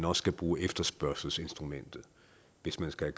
også skal bruge efterspørgselsinstrumentet hvis man skal